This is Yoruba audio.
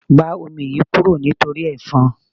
Gba omi yìí kúrò nítorí efon.